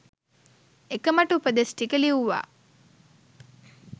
එක මට උපදෙස් ටික ලිව්වා